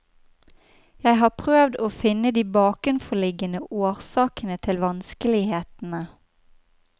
Jeg har prøvd å finne de bakenforliggende årsakene til vanskelighetene.